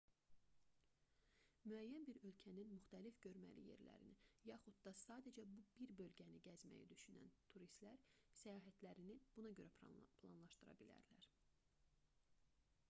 müəyyən bir ölkənin müxtəlif görməli yerlərini yaxud da sadəcə bir bölgəni gəzməyi düşünən turistlər səyahətlərini buna görə planlaşdıra bilərlər